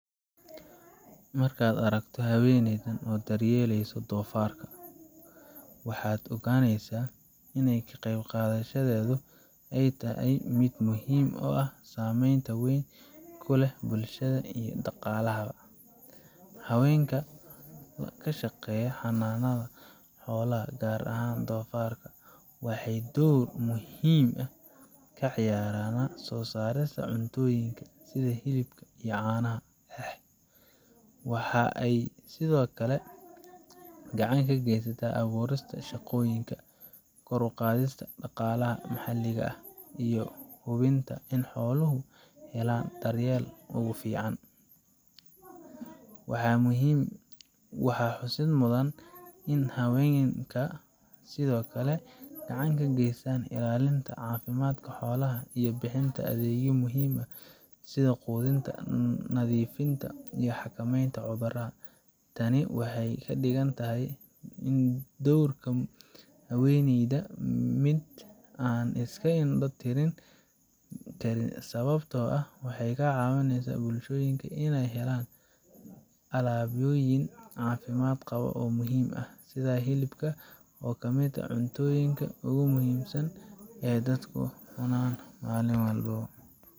Marka aad aragto haweeneyda daryeelayso doofaarka, waxaad ogaaneysaa in ka qaybqaadashadeedu ay tahay mid muhiim ah oo saameyn weyn ku leh bulshada iyo dhaqaalaha. Haweenka ka shaqeeya xanaanada xoolaha, gaar ahaan doofaarka, waxay door muhiim ah ka ciyaarayaan soo saarista cuntooyinka sida hilibka iyo caanaha. Waxa ay sidoo kale gacan ka geystaan abuurista shaqooyin, kor u qaadista dhaqaalaha maxalliga ah, iyo hubinta in xooluhu helaan daryeelka ugu fiican. Waxaa xusid mudan in haweenka ay sidoo kale gacan ka geystaan ilaalinta caafimaadka xoolaha iyo bixinta adeegyo muhiim ah sida quudinta, nadiifinta, iyo xakamaynta cudurrada. Tani waxay ka dhigeysaa doorka haweeneyda mid aan la iska indho tirin, sababtoo ah waxay ka caawisaa bulshooyinka inay helaan alaabooyin caafimaad qaba oo muhiim ah, sida hilibka, oo ka mid ah cuntooyinka ugu muhiimsan ee dadku cunaan malin walbo